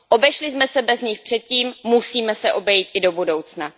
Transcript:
Obešli jsme se bez nich před tím, musíme se obejít i do budoucna.